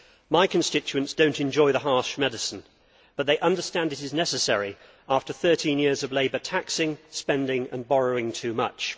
My constituents do not enjoy the harsh medicine, but they understand it is necessary after 13 years of Labour taxing, spending and borrowing too much.